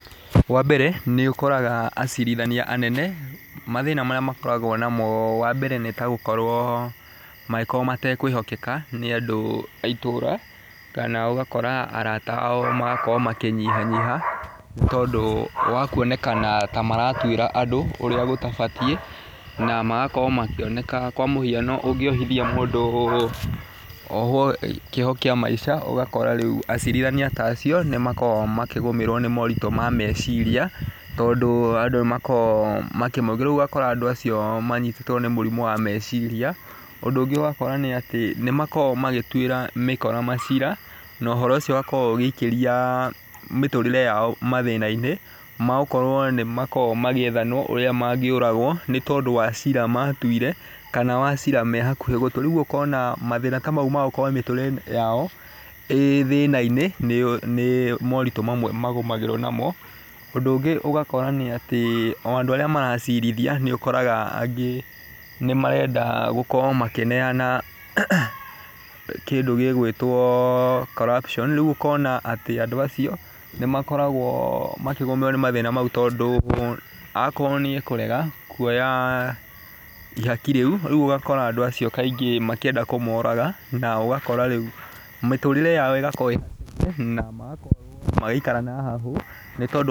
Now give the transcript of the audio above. Wa mbere nĩ ũkoraga acirithania anene mathĩna marĩa makoragwo namo wa mbere, nĩ ta gũkorwo mategũkorwo makĩhokeka nĩ andũ a itũra. Kana ũgakora arata ao magĩkorwo makĩnyihanyiha, nĩ tondũ wa kuonekana ta maratuĩra andũ ũrĩa gũtabatiĩ. Na magakorwo makĩoneka kwa mũhiano ũngĩohithia mũndũ ohwo kĩoho kĩa maica ũgakora rĩu acirithania ta acio nĩ makoragwo makĩgũmĩrwo nĩ moritũ ma meciria, tondũ andũ nĩ makoragwo makĩmoria. Rĩu ũgakora andũ acio makĩnyitwo nĩ mũrimũ wa meciria. Ũndũ ũngĩ ũgakora atĩ nĩ makoragwo magĩtuĩra mĩkora macira na ũhoro ũcio ũgakorwo ũgĩikĩria mĩtũrire yao mathĩna-inĩ ma gũkorwo nĩ makoragwo magĩethanwo ũrĩa mangĩũragwo, nĩ tondũ wa cira matuire kana wa cira mehakuhĩ gũtua. Rĩu ũkona macira ta macio ma gũkorwo mĩtũrĩre yao ĩ thĩna-inĩ nĩ moritũ mamwe magũmagĩrwo namo. Ũndũ ũngĩ nĩ ũgakora nĩ atĩ o andũ arĩa maracirithia nĩ ũkoraga atĩ angĩ nĩ marenda gũkorwo makĩneana kĩndũ gĩgwĩtwo corruption rĩu ũkona atĩ andũ acio ni makoragwo makĩgũmĩrwo nĩ mathina macio tondũ, akorwo nĩ akũrega kuoya ihaki rĩu. Rĩu ũgakora andũ acio kaingĩ makienda kũmũraga, na ũgakora rĩu mĩturĩre yao ĩgakorwo thĩna-inĩ na magakorwo magĩikara na hahũ nĩ tondũ...